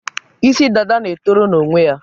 Isi dada na-etoro n'onwe ya.